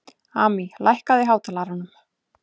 Amý, lækkaðu í hátalaranum.